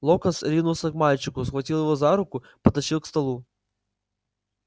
локонс ринулся к мальчику схватил его за руку потащил к столу